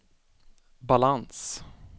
balans